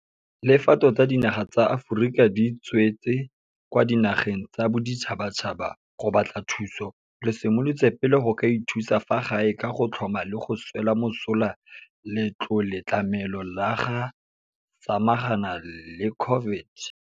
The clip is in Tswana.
Le fa tota dinaga tsa Aforika di tswetse kwa dinageng tsa boditšhabatšhaba go batla thuso, re simolotse pele ka go ithusa fa gae ka go tlhoma le go swela mosola Letloletlamelo la go Samagana le COVID-19.